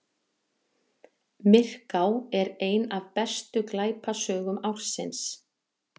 Myrká ein af bestu glæpasögum ársins